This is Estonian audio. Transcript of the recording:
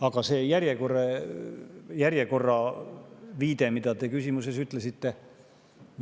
Aga nüüd see järjekorra viide, mille te küsimuses.